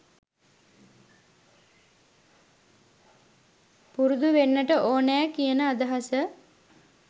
පුරුදු වෙන්නට ඕනෑ කියන අදහස